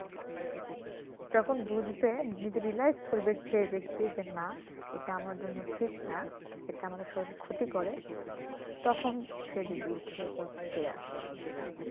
তখন বুঝবে নিজে realized করবে যে ব্যক্তি যে না এটা আমার জন্য ঠিক না এটা আমাদের শরীরে ক্ষতি করে তখন সে যদি ইচ্ছে তো ছেড়ে আসে সেটা